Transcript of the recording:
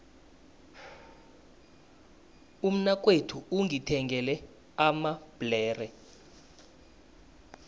umnakwethu ungithengele amabhlere